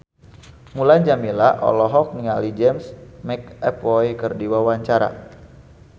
Mulan Jameela olohok ningali James McAvoy keur diwawancara